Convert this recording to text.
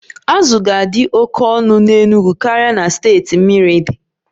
Azụ ga-adị oke ọnụ n'Enugwu karịa na steeti mmiri di